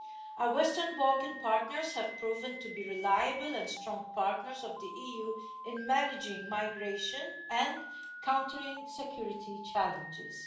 Our Western Balkan partners have proven to be reliable and strong partners of the EU in managing migration and countering security challenges.